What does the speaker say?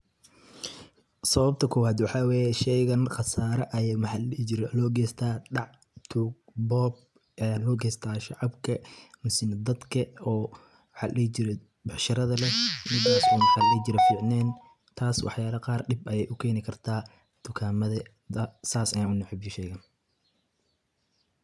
Sawabta kuwat waxawaye ee sheekan maqaasara Aya mxaladhi jiray loogeeystah daac tuug, boob Aya loogeeystah shacabka mini dadka oo maxaladhe jiray beecsharada leeh kuwasi maxaladhe jiray ficnen taasi waxyara Qaar deeb Aya u geeni kartah tuugametha saas Aya waxa neeshega.